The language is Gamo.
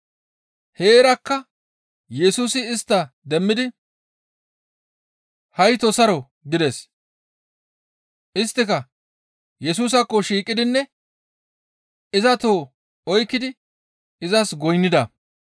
Heerakka Yesusi istta demmidi, «Haytoo saro» gides. Isttika Yesusaakko shiiqidinne iza toho oykkidi izas goynnida.